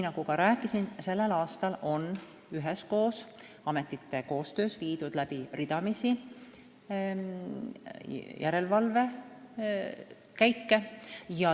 Nagu juba rääkisin, sellel aastal on ametite koostöös tehtud ridamisi järelevalvekäike.